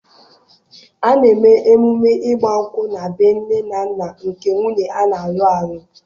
A na-eme emume ịgba nkwụ na bee nne na nna nke nwunye a na-alụ alụ